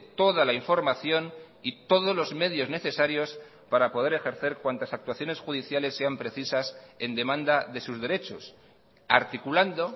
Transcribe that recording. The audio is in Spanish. toda la información y todos los medios necesarios para poder ejercer cuantas actuaciones judiciales sean precisas en demanda de sus derechos articulando